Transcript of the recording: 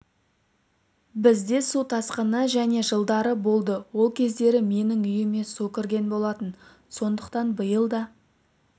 бізде су тасқыны және жылдары болды ол кездері менің үйіме су кірген болатын сондықтан биыл да